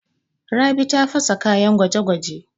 Rabi ta fasa kayan gwaje-gwaje.